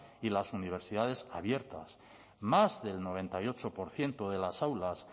y las universidades abiertas más del noventa y ocho por ciento de las aulas